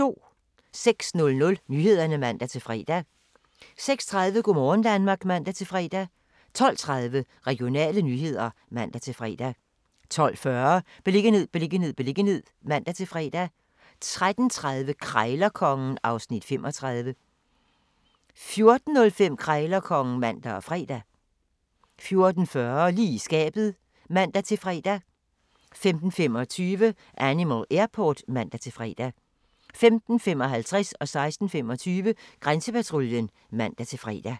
06:00: Nyhederne (man-fre) 06:30: Go' morgen Danmark (man-fre) 12:30: Regionale nyheder (man-fre) 12:40: Beliggenhed, beliggenhed, beliggenhed (man-fre) 13:30: Krejlerkongen (Afs. 35) 14:05: Krejlerkongen (man og fre) 14:40: Lige i skabet (man-fre) 15:25: Animal Airport (man-fre) 15:55: Grænsepatruljen (man-fre) 16:25: Grænsepatruljen (man-fre)